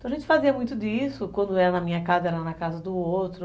Então a gente fazia muito disso, quando era na minha casa, era na casa do outro.